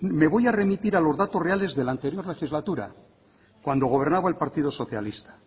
me voy a remitir a los datos reales de la anterior legislatura cuando gobernaba el partido socialista